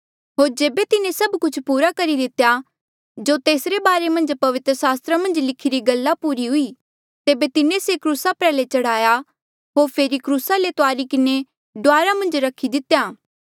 होर जेबे तिन्हें से सब कुछ पूरा करी लितेया जो तेसरे बारे मन्झ पवित्र सास्त्रा मन्झ लिखिरी गल्ला पूरी हुई तेबे तिन्हें से क्रूसा प्रयाल्हे चढ़ाया होर फेरी क्रूसा ले तुआरी किन्हें डुआर मन्झ रखी दितेया